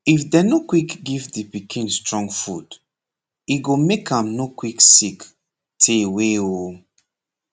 if dem nor quick give de pikin strong food e go make am nor quick sick tey wey oo